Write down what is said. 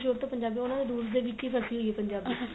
ਸ਼ੁਰੂ ਤੋ ਪੰਜਾਬੀ ਬੋਲਦੇ ਉਹਨਾ ਦੇ ਵਿੱਚ ਹੀ ਫਸੀ ਹੋਈ ਏ ਪੰਜਾਬੀ